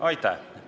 Aitäh!